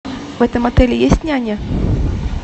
в этом отеле есть няня